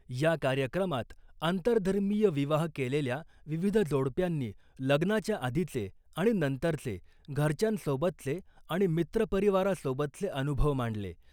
या कार्यक्रमात आंतरधर्मीय विवाह केलेल्या विविध जोडप्यांनी लग्नाच्या आधीचे आणि नंतरचे घरच्यांसोबतचे आणि मित्रपरिवारासोबतचे अनुभव मांडले .